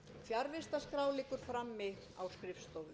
að störf okkar verði alþingi til sóma